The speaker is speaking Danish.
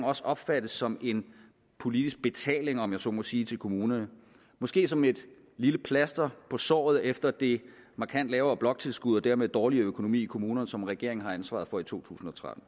også opfattes som en politisk betaling om jeg så må sige til kommunerne måske som et lille plaster på såret efter det markant lavere bloktilskud og den dermed dårligere økonomi i kommunerne som regeringen har ansvaret for i to tusind og tretten